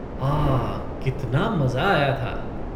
आह! कितना मज़ा आया था।